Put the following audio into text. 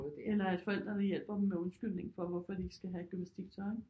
Eller at forældrene hjælper dem med undskyldningen for hvorfor de ikke skal have gymnastiktøj ikke